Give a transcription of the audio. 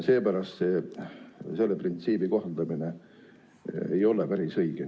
Seepärast selle printsiibi kohaldamine ei ole päris õige.